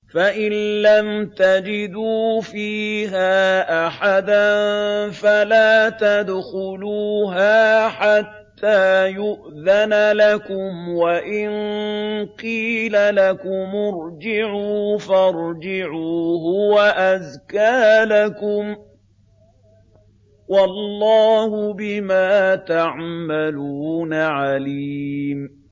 فَإِن لَّمْ تَجِدُوا فِيهَا أَحَدًا فَلَا تَدْخُلُوهَا حَتَّىٰ يُؤْذَنَ لَكُمْ ۖ وَإِن قِيلَ لَكُمُ ارْجِعُوا فَارْجِعُوا ۖ هُوَ أَزْكَىٰ لَكُمْ ۚ وَاللَّهُ بِمَا تَعْمَلُونَ عَلِيمٌ